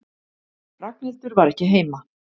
Ragnhildur var ekki heima.